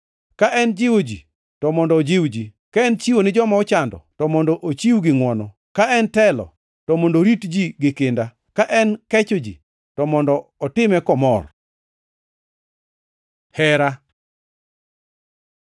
Ka en jiwo ji, to mondo ojiw ji; ka en chiwo ne joma ochando, to mondo ochiw gi ngʼwono; ka en telo, to mondo orit ji gi kinda; ka en kecho ji, to mondo otime komor. Hera